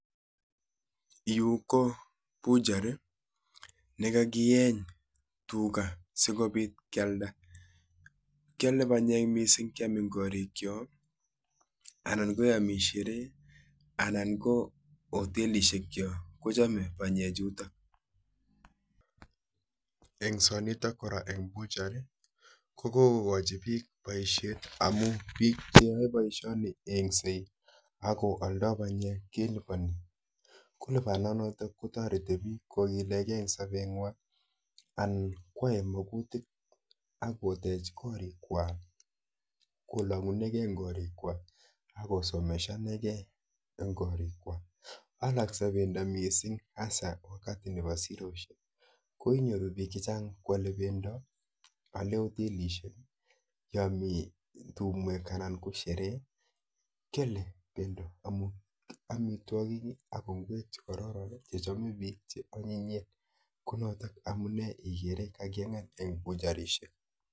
Yuu kopucher olekakieny Tuga sigopit keald kinamee panyeek chechang Eng bushar kokokachi piik poishonik sigogilekeee Eng sabet nywaan